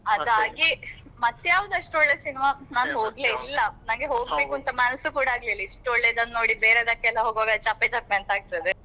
ಮತ್ತೆ ಯಾವ್ದ್ ಅಷ್ಟು ಒಳ್ಳೆ cinema ಹೋಗ್ಲೇ ಇಲ್ಲ. ಅಂತ ಮನಸು ಕೂಡ ಆಗ್ಲಿಲ್ಲ ಇಷ್ಟ್ ಒಳ್ಳೇದನ್ನ ನೋಡಿ ಬೇರೆದಕ್ಕೆಲ್ಲ ಹೋಗುವಾಗ ಚಪ್ಪೆ ಚಪ್ಪೆ ಅಂತ ಆಗ್ತದೆ.